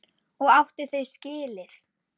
Og átti þau skilið.